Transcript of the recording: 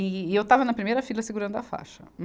E eu estava na primeira fila segurando a faixa.